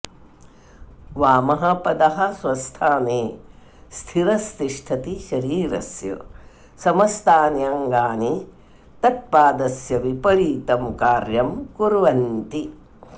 वामः पादः स्वस्थाने स्थिरस्तिष्ठति शरीरस्य समस्तान्यङ्गानि तत्पादस्य विपरीतं कार्यं कुर्वन्ति